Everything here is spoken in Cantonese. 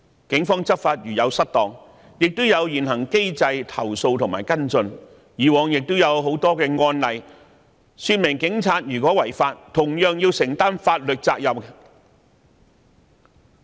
警方執法如有失當，可透過現行機制作出投訴及跟進，以往亦有很多案例說明，警察如有違法，同樣須承擔法律責任。